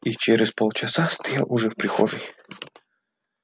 и через полчаса стоял уже в прихожей